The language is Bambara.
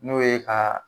N'o ye ka